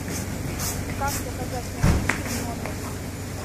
как заказать напитки в номер